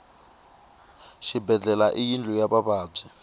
xibedlhele i yindlu ya vavabyi